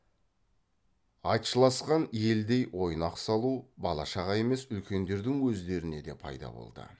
айтшыласқан елдей ойнақ салу бала шаға емес үлкендердің өздеріне де пайда болды